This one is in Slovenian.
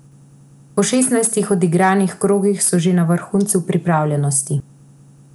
Po šestnajstih odigranih krogih so že na vrhuncu pripravljenosti.